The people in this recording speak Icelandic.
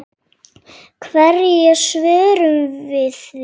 Hverju svörum við því?